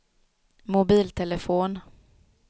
mobiltelefon